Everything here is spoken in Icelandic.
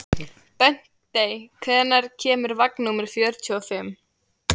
Bentey, hvenær kemur vagn númer fjörutíu og fimm?